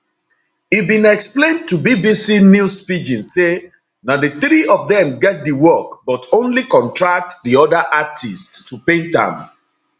e bin explian to bbc news pidgin say na di three of dem get di work but only contract di oda artists to paint am